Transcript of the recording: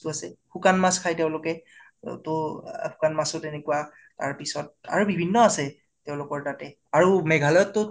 বস্তু আছে । শুকান মাছ খাই তেওঁলোকে অ তʼ, শুকান মাছো তেনেকুৱা, তাৰপিচত আৰু বিভিন্ন আছে তেওঁলোকৰ তাতে । আৰু মেঘালয়ত টো